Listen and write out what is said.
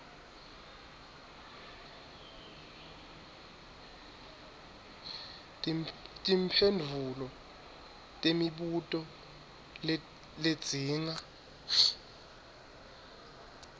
timphendvulo temibuto ledzinga